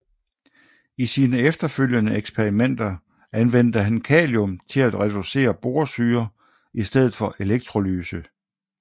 I sine efterfølgende eksperimenter anvendte han kalium til at reducere borsyre i stedet for electrolyse